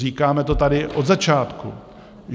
Říkáme to tady od začátku.